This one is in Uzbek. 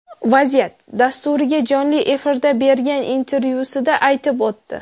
Vaziyat” dasturiga jonli efirda bergan intervyusida aytib o‘tdi.